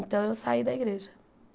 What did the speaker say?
Então eu saí da igreja.